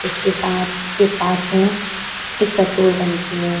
इसके साथ उसके पास में एक पेट्रोल टंकी है।